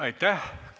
Aitäh!